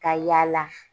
Ka yaala